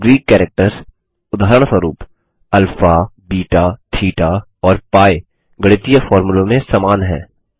अब Greek characters उदाहरणस्वरुप alpha beta theta और पी गणितीय फोर्मुलों में समान है